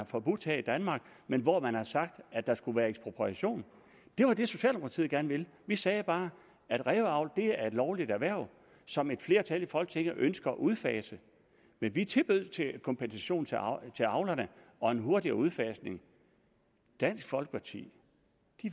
forbudt her i danmark men hvor man har sagt at der skulle være ekspropriation det var det socialdemokratiet gerne ville vi sagde bare at ræveavl er et lovligt erhverv som et flertal i folketinget ønsker at udfase men vi tilbød kompensation til avlerne til avlerne og en hurtigere udfasning dansk folkeparti